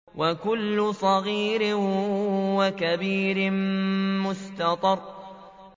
وَكُلُّ صَغِيرٍ وَكَبِيرٍ مُّسْتَطَرٌ